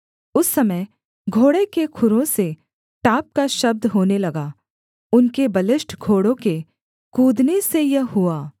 उस समय घोड़े के खुरों से टाप का शब्द होने लगा उनके बलिष्ठ घोड़ों के कूदने से यह हुआ